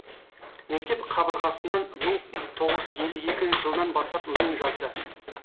мектеп қабырғасынан мың тоғыз елу екінші жылдан бастап өлең жазды